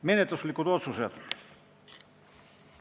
Menetluslikud otsused.